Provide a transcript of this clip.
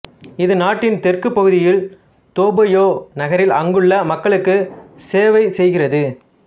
இது நாட்டின் தெற்கு பகுதியில் தோ பாயோ நகரில் அங்குள்ள மக்களுக்கு செவைசெய்கிறது